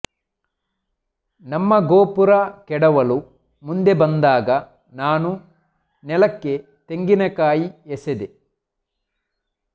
ನಮ್ಮ ಗೋಪುರ ಕೆಡವಲು ಮುಂದೆ ಬಂದಾಗ ನಾನು ನೆಲಕ್ಕೆ ತೆಂಗಿನಕಾಯಿ ಎಸೆದೆ